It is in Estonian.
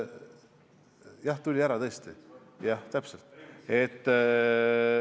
Jah, tuli ära tõesti!